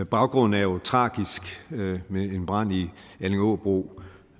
baggrunden er jo tragisk med en brand i allingåbro